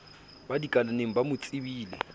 ba dikalaneng ba mo tsebileng